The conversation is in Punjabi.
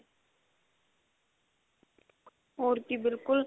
ਹੋਰ ਕੀ ਬਿਲਕੁਲ